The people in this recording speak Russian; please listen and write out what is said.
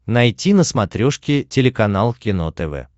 найти на смотрешке телеканал кино тв